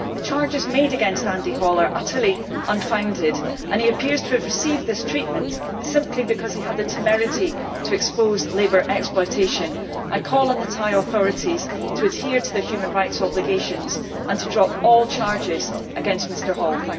The charges made against Andy Hall are utterly unfounded and he appears to have received this treatment simply because he had the temerity to expose labour exploitation. I call on the Thai authorities to adhere to their human rights obligations and to drop all charges against Mr Hall.